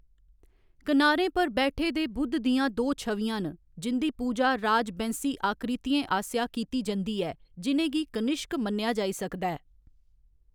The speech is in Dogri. किनारें पर बैठे दे बुद्ध दियां दो छवियां न, जिं'दी पूजा राज बैंस्सी आकृतियें आसेआ कीती जंदी ऐ, जि'नें गी कनिश्क मन्नेआ जाई सकदा ऐ।